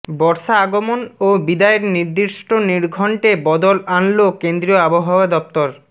বর্ষা আগমন ও বিদায়ের নির্দিষ্ট নির্ঘণ্টে বদল আনল কেন্দ্রীয় আবহাওয়া দফতর